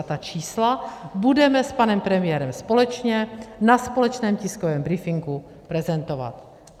A ta čísla budeme s panem premiérem společně na společném tiskovém briefingu prezentovat.